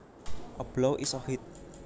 A blow is a hit